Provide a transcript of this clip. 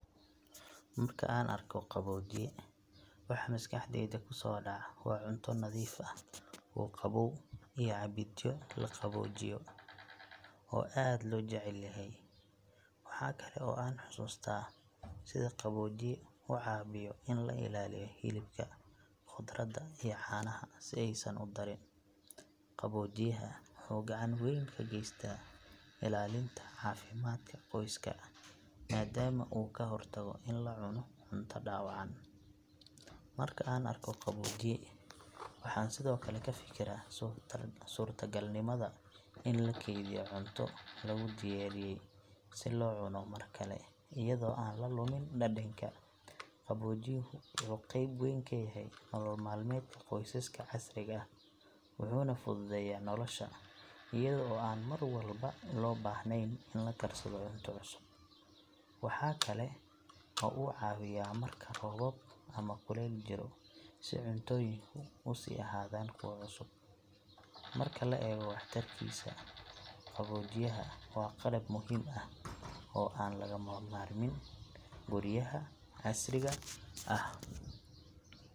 Marka aan arko qaboojiye, waxa maskaxdayda ku soo dhaca waa cunto nadiif ah oo qabow iyo cabbidyo la qaboojiyey oo aad loo jecel yahay. Waxa kale oo aan xasuustaa sida qaboojiye u caawiyo in la ilaaliyo hilibka, khudradda iyo caanaha si aysan u darin. Qaboojiyaha wuxuu gacan weyn ka geystaa ilaalinta caafimaadka qoyska maadaama uu ka hortago in la cuno cunto dhaawacan. Marka aan arko qaboojiye, waxaan sidoo kale ka fikiraa suurtogalnimada in la keydiyo cunto lagu diyaariyey si loo cuno mar kale iyadoo aan la lumin dhadhanka. Qaboojiyuhu wuxuu qayb weyn ka yahay nolol maalmeedka qoysaska casriga ah, wuxuuna fududeeyaa nolosha iyada oo aan mar walba loo baahnayn in la karsado cunto cusub. Waxa kale oo uu caawiyaa marka roobab ama kulayl jiro si cuntooyinku u sii ahaadaan kuwo cusub. Marka la eego waxtarkiisa, qaboojiyaha waa qalab muhiim ah oo aan laga maarmin guryaha casriga ah.